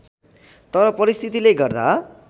तर परिस्थितिले गर्दा